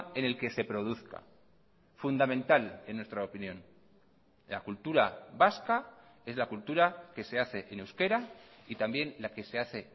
en el que se produzca fundamental en nuestra opinión la cultura vasca es la cultura que se hace en euskera y también la que se hace